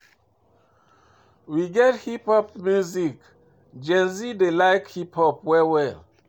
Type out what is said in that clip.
We get hip pop music, Gen z dey like hip pop well well